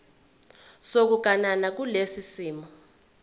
sokuganana kulesi simo